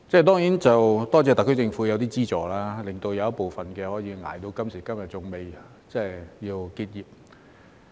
當然，感謝特區政府提供一些資助，令部分可以捱到今時今日仍未結業。